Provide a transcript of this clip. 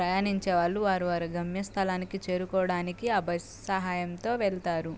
ప్రయాణించే వాళ్ళు వారి వారి గమ్య స్థలానికి చేరుకోవడానికి ఆ బస్సు సహాయంతో వెళ్తారు.